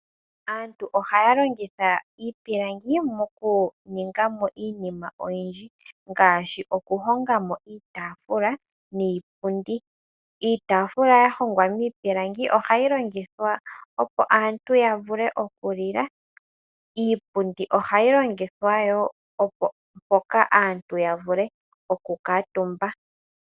Aantu ohaya longitha iipilangi mokuninga mo iinima oyindji ngaashi, okuhonga mo iitaafula niipundi. Iitaafula ya hongwa miipilangi ohayi longithwa opo aantu ya vule okulila, iipundi ohayi longithwa yo opo aantu ya vule okukutumba.